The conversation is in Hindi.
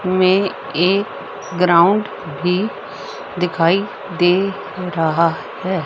हमें एक ग्राउंड भी दिखाई दे रहा है।